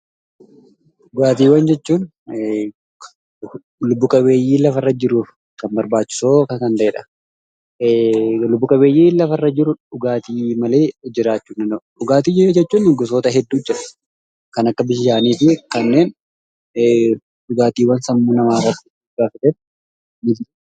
Dhugaatiiwwan jechuun lubbu qabeeyyi lafa irra jiruuf barbaachisoo kan ta'edha. Lubbu qabeeyyiin lafa irra jiru dhugaatii malee jiraachuu hindanda'u. Dhugaatii jechuun gosoota hedduutu jira. Kan akka bishaaniifi kanneen dhugaatiiwwan sammuu namaa irratti dhiibba fidan.